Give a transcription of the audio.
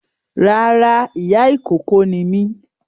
Rárá ìyá ìkókó ni mí